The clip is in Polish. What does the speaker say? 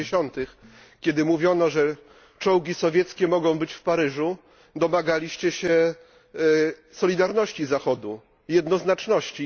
i 50., kiedy mówiono, że czołgi sowieckie mogą być w Paryżu, domagaliście się solidarności Zachodu, jednoznaczności.